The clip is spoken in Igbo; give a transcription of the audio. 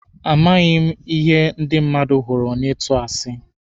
Amaghị m ihe ndị mmadụ hụrụ na ịtụ asi.